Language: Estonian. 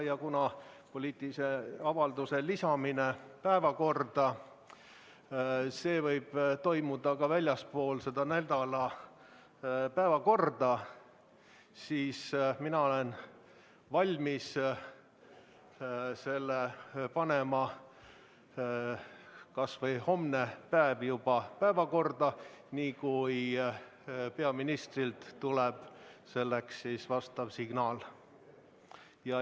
Ja kuna poliitilise avalduse lisamine päevakorda võib toimuda ka väljaspool nädala päevakorda, siis mina olen valmis selle sinna panema kas või hommepäev, kui peaministrilt nõusolek tuleb.